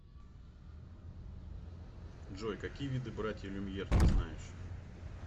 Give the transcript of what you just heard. джой какие виды братья люмьер ты знаешь